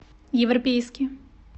европейский